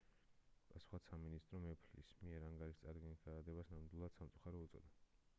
პასუხად სამინისტრომ ეფლის მიერ ანგარიშის წარდგენის გადადებას ნამდვილად სამწუხარო უწოდა